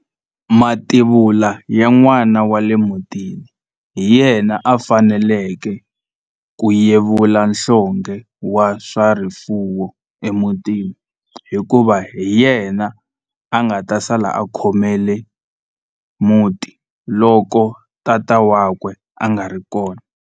Mativula ya n'wana wa le mutini hi yena a faneleke ku yevula nhlonghe wa swa rifuwo emutini hikuva hi yena a nga ta sala a khomele muti loko tata wakwe a nga ri kona.